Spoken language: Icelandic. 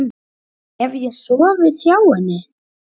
Hef ég sofið hjá henni?